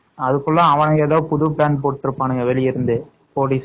அதுக்குள்ள அவங்க plan எல்லாம் போட்ருப்பாங்க போலீஸ் எல்லாம்